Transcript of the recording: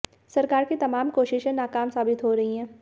सरकार की तमाम कोशिशे नाकाम साबित हो रही हैं